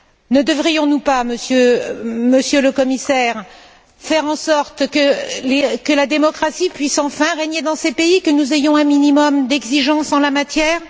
Ne devrions nous pas, Monsieur le Commissaire, faire en sorte que la démocratie puisse enfin régner dans ces pays, que nous ayons un minimum d'exigences en la matière?